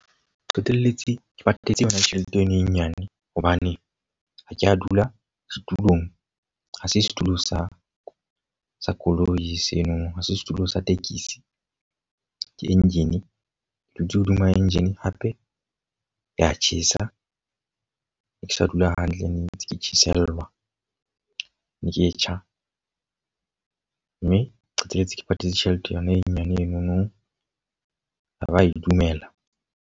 Qetelletse ke patetse yona tjhelete eno e nyane hobane ha ke a dula setulong. Ha se setulo sa sa koloi seno ha se setulo sa tekesi ke engine. Ke dutse hodima engine hape ya tjhesa, ne ke sa dula hantle ne ntse ke tjhesellwa, ne ke e tjha. Mme qetelletse ke patetse tjhelete yona e nyane enono a ba e dumela.